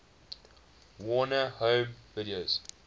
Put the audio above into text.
warner home video